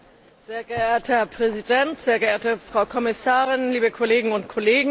Sehr geehrter Herr Präsident, sehr geehrte Frau Kommissarin, liebe Kolleginnen und Kollegen!